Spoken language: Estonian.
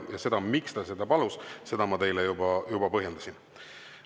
Seda, miks ta seda palus, ma teile juba põhjendasin.